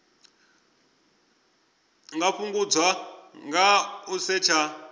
nga fhungudzwa nga u setsha